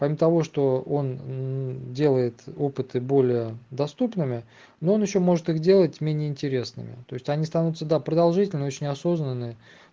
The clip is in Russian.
кроме того что он делает опыты более доступными но он ещё может их делать менее интересными то есть они останутся да продолжительными очень неосознанные